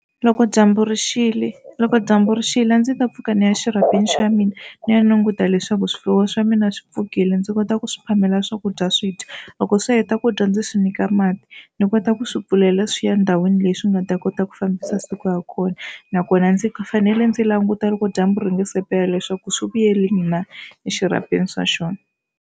Loko dyambu rixile loko dyambu rixile a ndzi ta pfuka ni ya exirhapeni xa mina ni ya languta leswaku swifuwo swa mina swi pfukile. Ndzi kota ku swi phamela swakudya swi dya loko swi heta ku dya ndzi swi nyika mati. Ndzi kota ku swi pfulela swi ya endhawini leyi swi nga ta kota ku fambisa siku ya kona nakona ndzi fanele ndzi languta loko dyambu ri nga se pela leswaku swi vuyeli na exirhapeni swa xona.